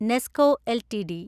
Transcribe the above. Nesco LTD